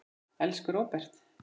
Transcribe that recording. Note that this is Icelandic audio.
Elsku Róbert.